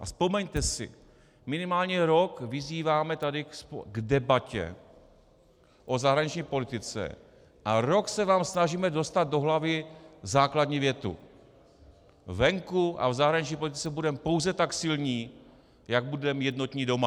A vzpomeňte si, minimálně rok vyzýváme tady k debatě o zahraniční politice a rok se vám snažíme dostat do hlavy základní větu - venku a v zahraniční politice budeme pouze tak silní, jak budeme jednotní doma.